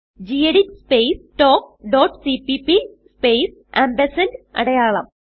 gedit space talk dot cpp space ampersand അടയാളം